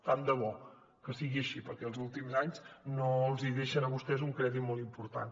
tant de bo que sigui així perquè els últims anys no els deixen a vostès un crèdit molt important